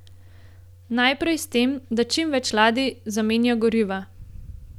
Najprej s tem, da čim več ladij zamenja goriva.